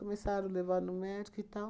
Começaram levar no médico e tal.